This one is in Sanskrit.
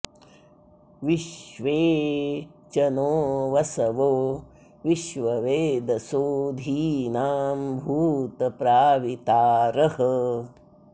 विश्वे॑ च नो वसवो विश्ववेदसो धी॒नां भू॑त प्रावि॒तारः॑